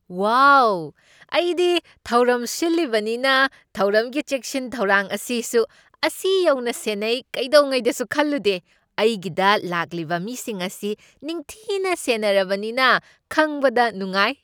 ꯋꯥ! ꯑꯩꯗꯤ ꯊꯧꯔꯝ ꯁꯤꯜꯂꯤꯕꯅꯤꯅ ꯊꯧꯔꯝꯒꯤ ꯆꯦꯛꯁꯤꯟ ꯊꯧꯔꯥꯡ ꯑꯁꯤꯁꯨ ꯑꯁꯤ ꯌꯧꯅ ꯁꯦꯟꯅꯩ ꯀꯩꯗꯧꯉꯩꯗ ꯈꯪꯂꯨꯗꯦ! ꯑꯩꯒꯤꯗ ꯂꯥꯛꯂꯤꯕ ꯃꯤꯁꯤꯡ ꯑꯁꯤ ꯅꯤꯡꯊꯤꯅ ꯁꯦꯟꯅꯔꯤꯕꯅꯤ ꯈꯪꯕꯗ ꯅꯨꯡꯉꯥꯏ꯫